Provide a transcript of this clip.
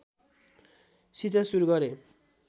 शिक्षा सुरु गरे